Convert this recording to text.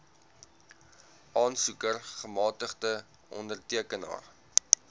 aansoeker gemagtigde ondertekenaar